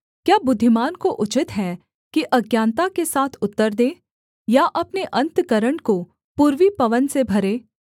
क्या बुद्धिमान को उचित है कि अज्ञानता के साथ उत्तर दे या अपने अन्तःकरण को पूर्वी पवन से भरे